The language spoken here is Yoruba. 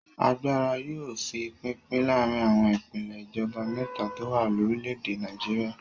Agbára yóò fi pínpín láàárin àwọn ìpèlè ìjọba mẹ́ta tó wà lórílẹ̀-èdè Nàìjíríà.